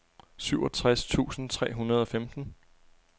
syvogtres tusind tre hundrede og femten